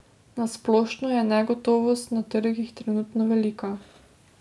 Na splošno je negotovost na trgih trenutno velika.